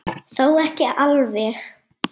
Þó ekki alveg.